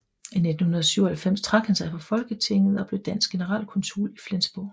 I 1997 trak han sig fra Folketinget og blev dansk generalkonsul i Flensborg